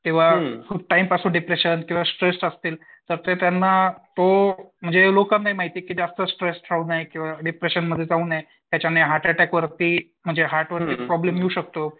किंवा खूप टाईम पासून डिप्रेशन किंवा स्ट्रेस असतील. तर ते त्यांना तो म्हणजे हे लोकांनाही माहिती की जास्त स्ट्रेस ठेऊ नये किंवा खूप डिप्रेशनमध्ये जाऊ नये त्याच्यामुळे हार्टअटॅक वरती म्हणजे हार्ट वरती प्रॉब्लेम येऊ शकतो